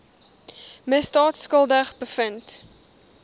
misdaad skuldig bevind